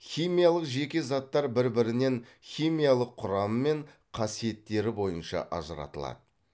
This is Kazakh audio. химиялық жеке заттар бір бірінен химиялық құрам мен қасиеттері бойынша ажыратылады